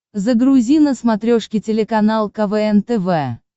загрузи на смотрешке телеканал квн тв